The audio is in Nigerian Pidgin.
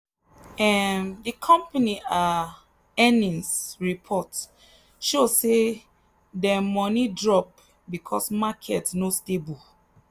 um the company um earnings report show say dem money drop because market no stable.